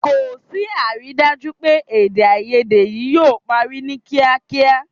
Kò sí àrídájú pé èdèàìyedè yìí yóò parí ní kíákíá